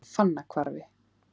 Fannahvarfi